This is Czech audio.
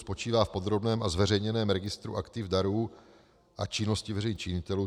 Spočívá v podrobném a zveřejněném registru aktiv darů a činnosti veřejných činitelů.